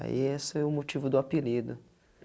Aí, esse é o motivo do apelido.